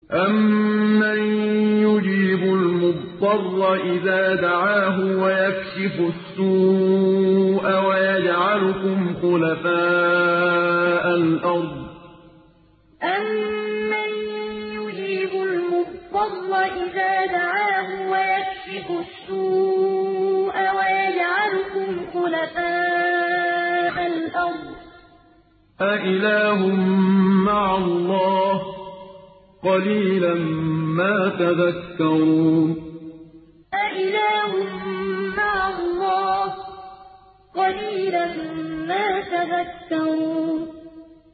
أَمَّن يُجِيبُ الْمُضْطَرَّ إِذَا دَعَاهُ وَيَكْشِفُ السُّوءَ وَيَجْعَلُكُمْ خُلَفَاءَ الْأَرْضِ ۗ أَإِلَٰهٌ مَّعَ اللَّهِ ۚ قَلِيلًا مَّا تَذَكَّرُونَ أَمَّن يُجِيبُ الْمُضْطَرَّ إِذَا دَعَاهُ وَيَكْشِفُ السُّوءَ وَيَجْعَلُكُمْ خُلَفَاءَ الْأَرْضِ ۗ أَإِلَٰهٌ مَّعَ اللَّهِ ۚ قَلِيلًا مَّا تَذَكَّرُونَ